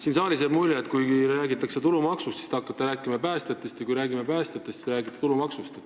Siin saalis jääb mulje, et kui räägitakse tulumaksust, hakkate teie rääkima päästjatest, ja kui räägitakse päästjatest, siis teie räägite tulumaksust.